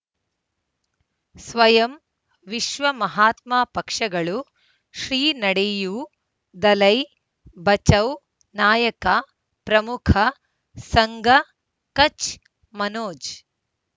ಸ್ವಯಂ ವಿಶ್ವ ಮಹಾತ್ಮ ಪಕ್ಷಗಳು ಶ್ರೀ ನಡೆಯೂ ದಲೈ ಬಚೌ ನಾಯಕ ಪ್ರಮುಖ ಸಂಘ ಕಚ್ ಮನೋಜ್